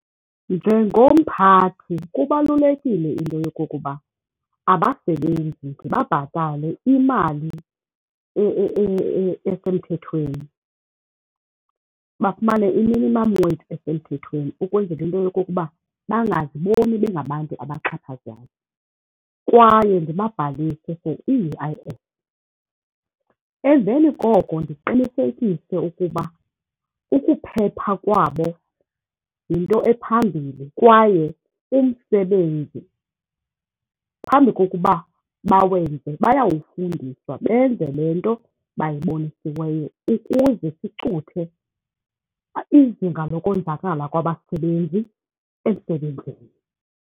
Njengomphathi kubalulekile into yokokuba abasebenzi ndibabhatale imali esemthethweni, bafumane i-minimum wage esemthethweni ukwenzela into yokokuba bangaziboni bengabantu abaxhaphazwayo kwaye ndibabhalise for i-U_I_F. Emveni koko ndiqinisekise ukuba ukuphepha kwabo yinto ephambili kwaye umsebenzi phambi kokuba bawenze bayawufundiswa, benze le nto bayibonisiweyo ukuze sicuthe izinga lokonzakala kwabasebenzi emsebenzini.